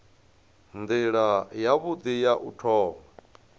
nila yavhui ya u thoma